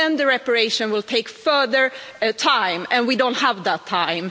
Then the reparation will take further time, and we don't have the time.